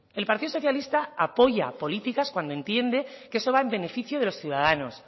el partido socialista apoya políticas cuando entiende que eso va en beneficio de los ciudadanos